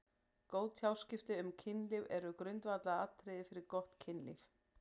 Góð tjáskipti um kynlíf eru grundvallaratriði fyrir gott kynlíf.